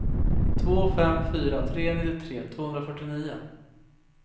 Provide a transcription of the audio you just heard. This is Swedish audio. två fem fyra tre nittiotre tvåhundrafyrtionio